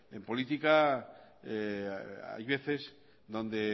en política hay veces donde